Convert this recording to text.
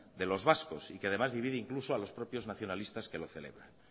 de los vascos y que además divide a los propios nacionalistas que lo celebran